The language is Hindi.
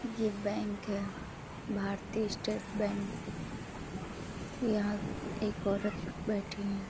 ये बैंक है। Bharatiya state bank. यहाँ एक औरत बैठी है।